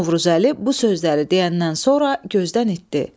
Novruzəli bu sözləri deyəndən sonra gözdən itdi.